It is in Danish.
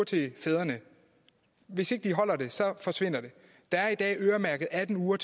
til fædrene hvis ikke de holder den forsvinder den der er i dag atten ugers